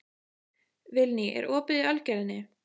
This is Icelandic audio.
Vilný, er opið í Ölgerðinni?